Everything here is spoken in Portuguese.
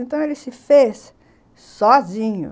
Então, ele se fez sozinho.